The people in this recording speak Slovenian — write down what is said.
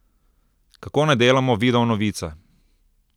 Kako naj delamo videonovice?